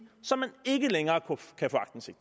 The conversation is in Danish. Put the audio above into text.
som man ikke længere